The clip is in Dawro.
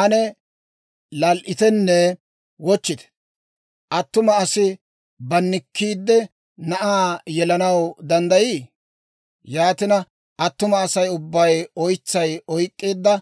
Ane lal"itenne wochchite! Attuma asi bannikkiide, na'aa yelanaw danddayii? Yaatina, attuma Asay ubbay oytsay oyk'k'eedda